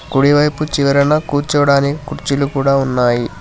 కుడివైపు చివరన కూర్చోడానికి కుర్చీలు కూడా ఉన్నాయి.